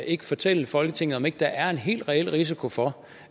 ikke fortælle folketinget om der ikke er en helt reel risiko for